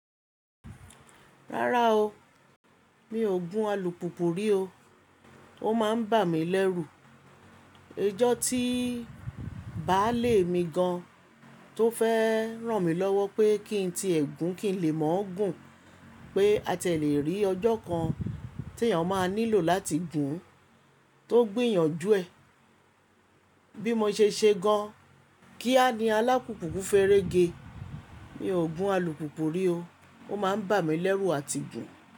Rárá o, mi ò gún alùpùpù rí o. Ó máa ń bà mí lẹ́rù. Ọjọ́ tí baálé mi gan tó fẹ́ ràn mí lọ́wọ́ pé kí n ti ẹ̀gún kí n lè mọ̀ ọ́n gùn pé a ti ẹ lè rí ọjọ́ kan tí èèyàn máa nílò láti gùn tó gbiyànjú ẹ̀. Bí mo ṣe ṣe gan, kí a ni alápùpù ku ferege. Mi ò gún alùpùpù rí o, ó máa ń bà mí lẹ́rù àti gùn.